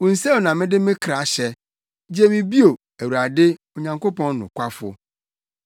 Wo nsam na mede me kra hyɛ; gye me bio, Awurade, Onyankopɔn nokwafo.